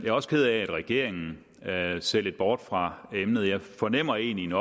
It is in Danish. er også ked af at regeringen ser lidt bort fra emnet jeg fornemmer egentlig en